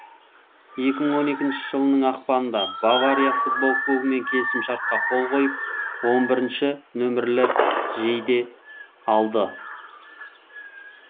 екі мың он екінші жылының ақпанында бавария футбол клубымен келісім шартқа қол қойып он бірінші нөмірлі жейде алды